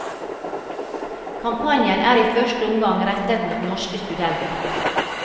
Kampanjen er i første omgang rettet mot norske studenter.